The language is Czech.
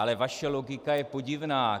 Ale vaše logika je podivná.